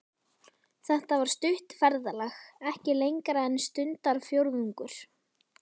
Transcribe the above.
Þetta var stutt ferðalag, ekki lengra en stundarfjórðungur.